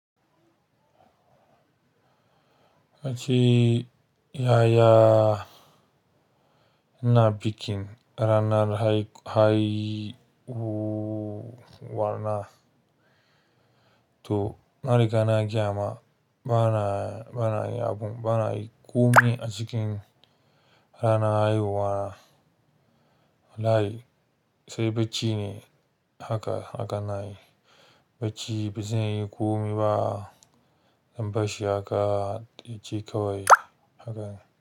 Ba ci, ya ya na bikin ranar haihuwa na. To, na riga na gayama, ba na, ba na yin abun, ba na yin komai a cikin ranar haihuwa na. Wallahi, sai bacci ne haka, haka ina yi. Bacci, ba zan yi komi ba, zan bar shi haka yaje kawai, haka ne.